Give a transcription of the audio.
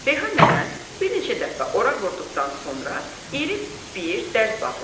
Reyhan nənə bir neçə dəfə oraq vurduqdan sonra iri bir dərz bağladı.